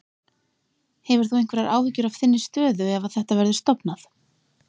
Hefur þú einhverjar áhyggjur af þinni stöðu ef að þetta verður stofnað?